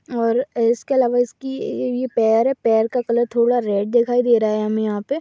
और इसके अलावा उसकी एव पैर-पेर का कलर का थोड़ा रेड दिखाई दे रहा है हमे यहाँ पे--